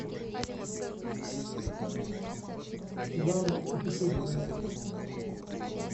жанр путешествия